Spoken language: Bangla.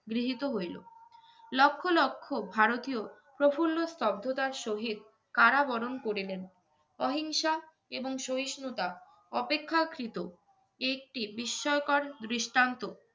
গৃহীত হইলো। লক্ষ লক্ষ ভারতীয় প্রফুল্ল স্তব্ধতার সহিত কারাবরণ করিলেন। অহিংসা এবং সহিষ্ণুতা অপেক্ষাকৃত একটি বিস্ময়কর দৃষ্টান্ত